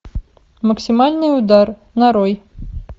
максимальный удар нарой